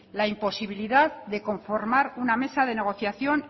la imposibilidad de conformar una mesa de negociación